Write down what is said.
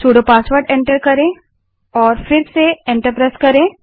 sudo password को enter करें और फिर से एंटर दबायें